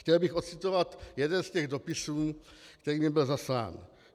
Chtěl bych ocitovat jeden z těch dopisů, který mi byl zaslán.